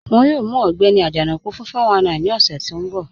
Wọ́n yóò mù Ọgbẹ́ni Ajanaku fún 419 ni ọṣẹ̀ tó nbọ̀.